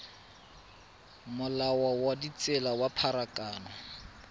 molao wa ditsela wa pharakano